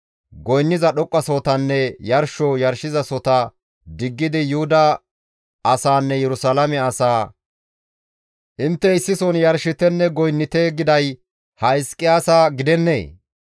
Goynniza dhoqqasohotanne yarsho yarshizasohota diggidi Yuhuda asaanne Yerusalaame asaa, ‹Intte issison yarshitenne goynnite› giday ha Hizqiyaasa gidennee?